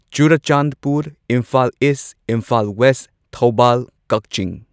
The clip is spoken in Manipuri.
ꯆꯨꯔꯥꯆꯥꯟꯗꯄꯨꯔ ꯏꯝꯐꯥꯜ ꯏꯁ ꯏꯝꯐꯥꯜ ꯋꯦꯁ ꯊꯧꯕꯥꯜ ꯀꯛꯆꯤꯡ